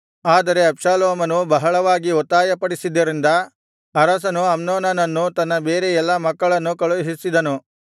ಆದರೆ ಅಬ್ಷಾಲೋಮನು ಬಹಳವಾಗಿ ಒತ್ತಾಯಪಡಿಸಿದ್ದರಿಂದ ಅರಸನು ಅಮ್ನೋನನನ್ನೂ ತನ್ನ ಬೇರೆ ಎಲ್ಲಾ ಮಕ್ಕಳನ್ನು ಕಳುಹಿಸಿದನು